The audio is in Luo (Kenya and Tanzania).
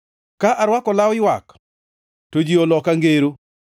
ka arwako law ywak, to ji oloka ngero.